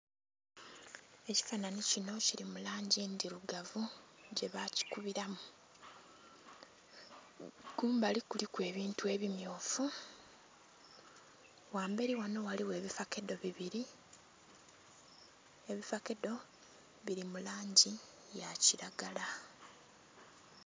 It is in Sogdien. Ekifananhi kinho kili mu langi ndhirugavu gye bakikubiramu, kumbali kuliku ebintu ebimyufu, ghamberi ghanho ghaligho ebifakedo bibiri ebifakedo biri mu langi ya kilagala.